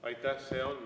Aitäh!